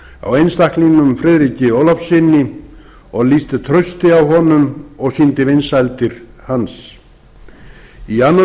á einstaklingnum friðriki ólafssyni og lýsti trausti á honum og sýndi vinsældir hans í annan